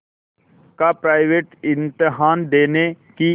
का प्राइवेट इम्तहान देने की